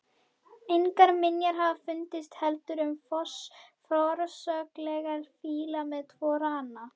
Engar minjar hafa fundist heldur um forsögulega fíla með tvo rana.